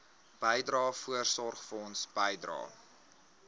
bydrae voorsorgfonds bydrae